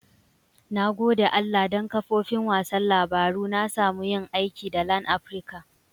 Na gode Allah dan kafofin wasan labaru na samu yin aiki da LANaprica.